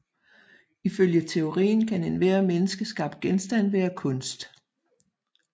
Ifølge teorien kan enhver menneskeskabt genstand være kunst